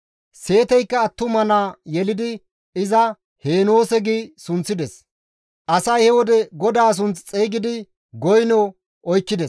Seeteykka attuma naa yelidi iza, «Heenoose» gi sunththides. Asay he wode GODAA sunth xeygidi goyno oykkides.